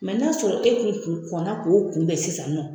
Mɛ n'a sɔrɔ e kun kun kɔnɔna k'o kunbɛn sisan nɔ